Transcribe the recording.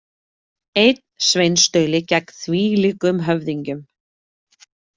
Einn sveinstauli gegn þvílíkum höfðingjum.